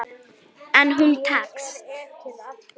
En hún tekst.